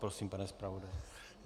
Prosím, pane zpravodaji.